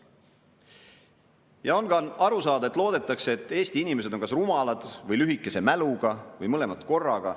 Ja on ka aru saada, et loodetakse, et Eesti inimesed on kas rumalad või lühikese mäluga või mõlemat korraga.